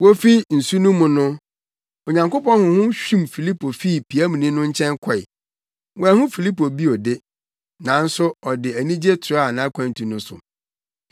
Wofi nsu no mu no, Onyankopɔn Honhom hwim Filipo fii piamni no nkyɛn kɔe. Wanhu Filipo bio de, nanso ɔde anigye toaa nʼakwantu no so.